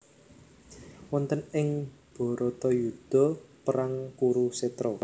Wonten ing Bharatayuda perang Kurusetra